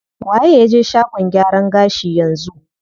Waye ya je shagon gyaran gashi yanzu?